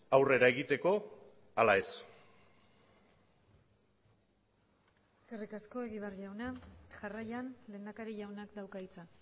aurrera egiteko ala ez eskerrik asko egibar jauna jarraian lehendakari jaunak dauka hitza